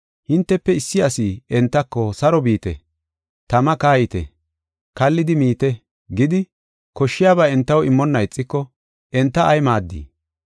hintefe issi asi entako, “Saro biite! Tama kayite! Kallidi miite!” gidi, koshshiyaba entaw immonna ixiko enta ay maaddii?